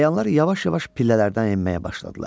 Əyanlar yavaş-yavaş pillələrdən enməyə başladılar.